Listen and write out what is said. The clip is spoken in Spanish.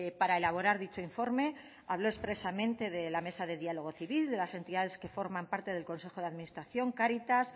para elaborar dicho informe habló expresamente de la mesa de diálogo civil de las entidades que forman parte del consejo de administración cáritas